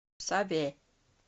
саве